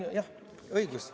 Jah, õigus.